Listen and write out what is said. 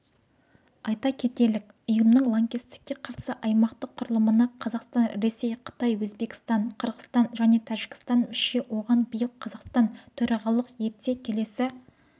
айта кетелік ұйымның лаңкестікке қарсы аймақтық құрылымына қазақстан ресей қытай өзбекстан қырғыстан және тәжікстан мүше оған биыл қазақстан төрағалық етсе келесі